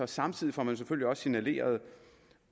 samtidig får man selvfølgelig også signaleret